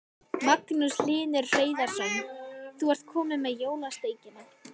Magnús Hlynur Hreiðarsson: Þú ert komin með jólasteikina?